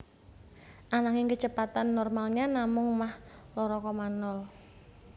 Ananging kecepatan normalnya namung mach loro koma nol